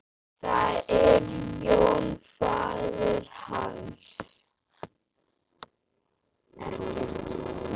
Það er Jón faðir hans.